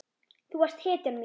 Þú varst hetjan mín.